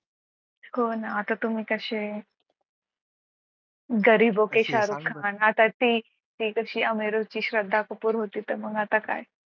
हो ना आता तुम्ही कसे गरीबोके शाहरुख खान आता ती कशी अमिरो कि श्रद्धा कपूर होती तर मग आता काय.